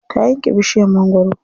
Ta yanke bishiyar mangwaro.